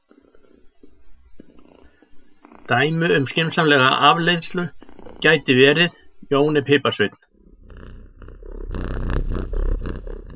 Dæmi um skynsamlega afleiðslu gæti verið: Jón er piparsveinn.